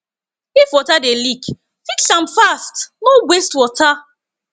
if water dey leak fix am fast no waste water